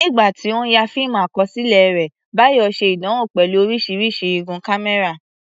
Nígbà tí ó ń ya fíìmù àkọsílẹ̀ rẹ̀, Bayo ṣe ìdánwò pẹ̀lú oríṣiríṣi igun kámẹ́rà.